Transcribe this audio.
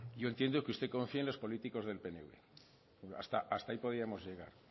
yo entiendo que usted confíe en los políticos del pnv hasta ahí podíamos llegar